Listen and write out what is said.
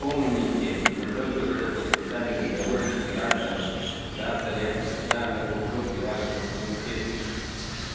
помните мы только что подписали договор с императором завтра я предоставлю его копию вашему комитету